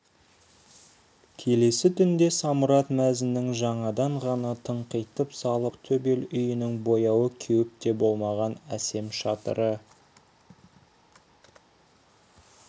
келесі түнде самұрат мәзіннің жаңадан ғана тыңқитып салып алған көк төбел үйінің бояуы кеуіп те болмаған әсем шатыры